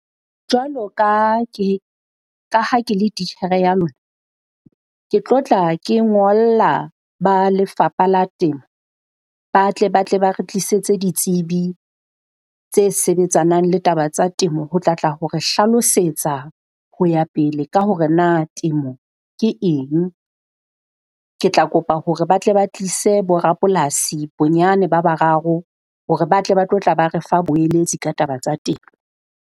Jwalo ka ke ka ha ke le titjhere ya lona, ke tlo tla ke ngolla ba lefapha la temo ba tle ba tle ba re tlisetse ditsebi tse sebetsanang le taba tsa temo, ho tla tla ho re hlalosetsa ho ya pele ka hore na temo ke eng. Ke tla kopa hore ba tle ba tlise bo rapolasi bonyane ba bararo hore ba tle ba tlo tla ba re fa boeletsi ka taba tsa temo.